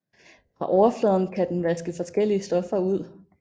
Fra overfladen kan den vaske forskellige stoffer ud